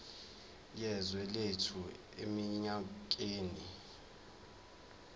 yezwe lethu eminyakeni